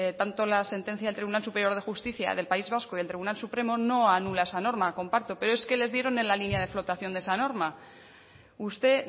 tanto la sentencia del tribunal superior de justicia del país vasco y del tribunal supremo no anula esa norma comparto pero es que le dieron en la línea de flotación de esa norma usted